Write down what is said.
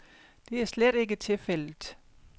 Det er slet ikke tilfældet.